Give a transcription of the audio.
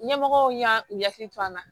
Ɲɛmɔgɔw y'an u hakili to an na